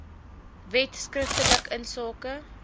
wet skriftelik insake